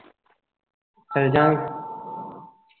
ਚਲ ਜਾਵਾਂਗੇ